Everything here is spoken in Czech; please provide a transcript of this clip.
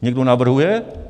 Někdo navrhuje?